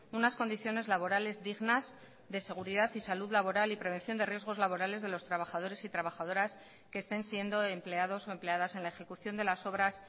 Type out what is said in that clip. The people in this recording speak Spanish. unas condiciones laborales dignas de seguridad y salud laboral y prevención de riesgos laborales de los trabajadores y trabajadoras que estén siendo empleados o empleadas en la ejecución de las obras